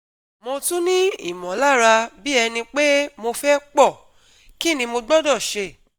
Mo tún ní ìmọ̀lára bí ẹni pé mo fẹ́ pọ̀ kí ni mo gbọdọ̀ ṣe